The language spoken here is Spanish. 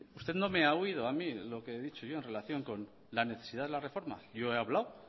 usted no me ha oído a mí lo que he dicho yo en relación con la necesidad de la reforma yo he hablado